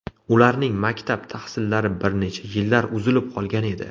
Ularning maktab tahsillari bir necha yillar uzilib qolgan edi.